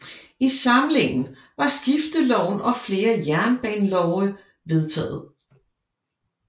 I samlingen var Skifteloven og flere jernbanelove vedtaget